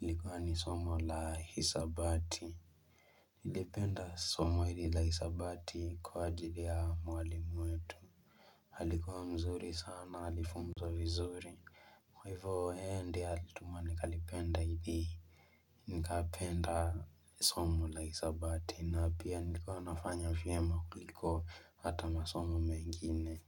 ilikuwa ni somo la hisabati nilipenda somo hili la hisabati kwa ajili ya mwalimu wetu alikuwa mzuri sana alifunza vizuri Kwa hivo yeye ndiye alituma nikalipenda hili Nikapenda somo la hisabati na pia nilikuwa nafanya vyema kuliko hata masomo mengine.